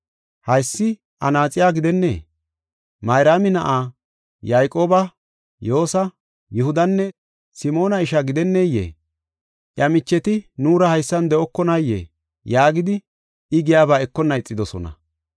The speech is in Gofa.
Haysi anaaxiya gidennee? Mayraami na7a, Yayqooba, Yoosa, Yihudanne Simoona ishaa gidenneyee? Iya micheti nuura haysan de7okonayee?” yaagidi, I giyaba ekonna ixidosona.